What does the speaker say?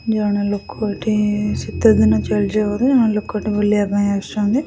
ଜଣେ ଲୋକ ଏଠି ଶୀତ ଦିନ ଚାଲିଯିବାରୁ ଜଣେ ଲୋକଟେ ବୁଲିବା ପାଇଁ ଆସିଚନ୍ତି।